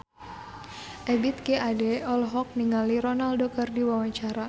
Ebith G. Ade olohok ningali Ronaldo keur diwawancara